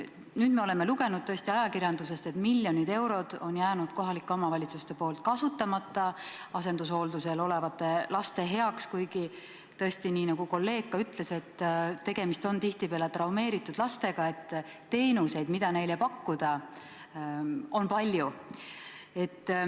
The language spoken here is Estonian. Nüüd me oleme lugenud ajakirjandusest, et miljonid eurod on jäänud kohalikel omavalitsustel kasutamata asendushooldusel olevate laste heaks, kuigi tõesti, nii nagu kolleeg ka ütles, tegemist on tihtipeale traumeeritud lastega ja teenuseid, mida neile pakkuda, on palju.